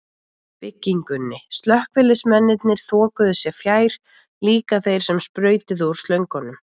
byggingunni, slökkviliðsmennirnir þokuðu sér fjær, líka þeir sem sprautuðu úr slöngunum.